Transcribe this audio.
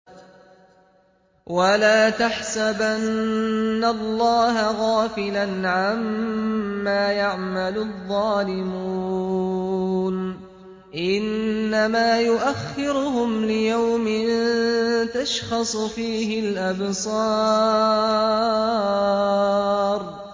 وَلَا تَحْسَبَنَّ اللَّهَ غَافِلًا عَمَّا يَعْمَلُ الظَّالِمُونَ ۚ إِنَّمَا يُؤَخِّرُهُمْ لِيَوْمٍ تَشْخَصُ فِيهِ الْأَبْصَارُ